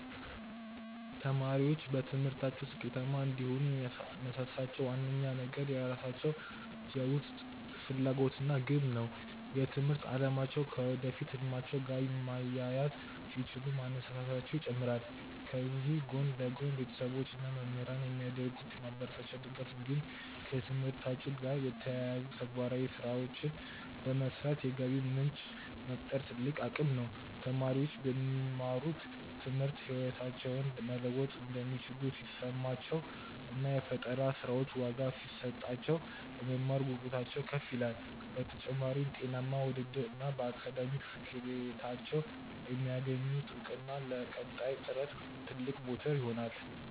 ተማሪዎች በትምህርታቸው ስኬታማ እንዲሆኑ የሚያነሳሳቸው ዋነኛው ነገር የራሳቸው የውስጥ ፍላጎት እና ግብ ነው። የትምህርት አላማቸውን ከወደፊት ህልማቸው ጋር ማያያዝ ሲችሉ መነሳሳታቸው ይጨምራል። ከዚህ ጎን ለጎን፣ ቤተሰቦች እና መምህራን የሚያደርጉት የማበረታቻ ድጋፍ እንዲሁም ከትምህርታቸው ጋር የተያያዙ ተግባራዊ ስራዎችን በመስራት የገቢ ምንጭ መፍጠር ትልቅ አቅም ነው። ተማሪዎች በሚማሩት ትምህርት ህይወታቸውን መለወጥ እንደሚችሉ ሲሰማቸው እና የፈጠራ ስራዎቻቸው ዋጋ ሲሰጣቸው፣ የመማር ጉጉታቸው ከፍ ይላል። በተጨማሪም፣ ጤናማ ውድድር እና በአካዳሚክ ስኬታቸው የሚያገኙት እውቅና ለቀጣይ ጥረት ትልቅ ሞተር ይሆናሉ።